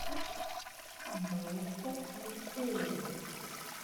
баирта алексеевна